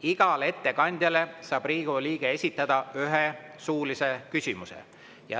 Igale ettekandjale saab Riigikogu liige esitada ühe suulise küsimuse.